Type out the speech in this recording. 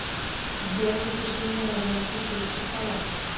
сбер запиши меня на женскую стрижку в салон